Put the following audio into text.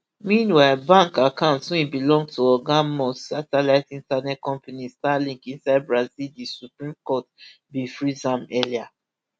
meanwhile bank accounts wey belong to oga musk satellite internet company starlink inside brazil di supreme court bin freeze am earlier